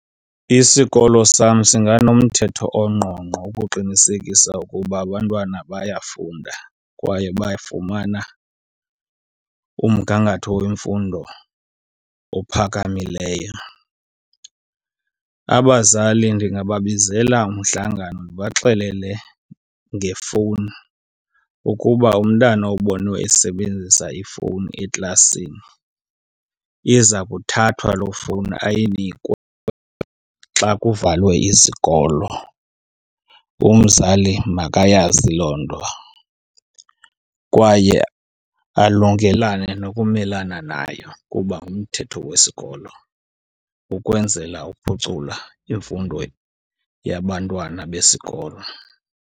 Isikolo sam singanomthetho ongqongqo ukuqinisekisa ukuba abantwana bayafunda kwaye bafumana umgangatho wemfundo ophakamileyo. Abazali ndingababizela umhlangano ndibaxelele ngefowuni ukuba umntana obonwe esebenzisa ifowuni eklasini iza kuthathwa loo fowuni ayinikwe xa kuvalwe izikolo. Umzali makayazi loo nto kwaye alungelane nokumelana nayo kuba ngumthetho wesikolo ukwenzela uphucula imfundo yabantwana besikolo.